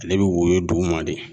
Ale bɛ woyo duguma de